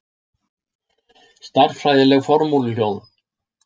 Stærðfræðileg formúluljóð.